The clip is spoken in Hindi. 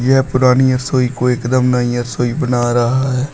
यह पुरानी रसोई को एकदम नई रसोई बन रहा है।